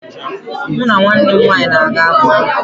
Mụ na nwanne m nwaanyị na-aga akwụkwọ